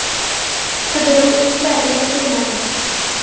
“Qidiruv ishlari yakunlandi.